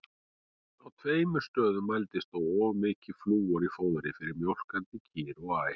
Á tveimur stöðum mælist þó of mikið flúor í fóðri fyrir mjólkandi kýr og ær.